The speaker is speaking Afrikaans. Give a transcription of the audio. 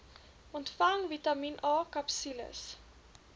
ontvang vitamien akapsules